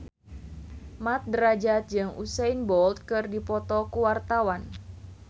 Mat Drajat jeung Usain Bolt keur dipoto ku wartawan